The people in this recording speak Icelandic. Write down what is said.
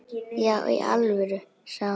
Já í alvöru, sagði hún.